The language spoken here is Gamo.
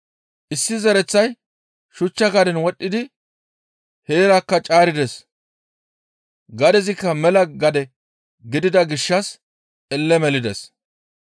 Issi zereththay shuchcha gaden wodhdhidi heerakka caarides; gadezikka mela gade gidida gishshas elle melides.